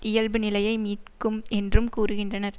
இயல்பு நிலையை மீட்கும் என்றும் கூறுகின்றனர்